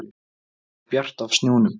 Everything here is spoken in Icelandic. Það var bjart af snjónum.